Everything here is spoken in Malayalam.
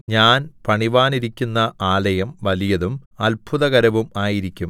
ഞാൻ പണിവാനിരിക്കുന്ന ആലയം വലിയതും അത്ഭുതകരവും ആയിരിക്കും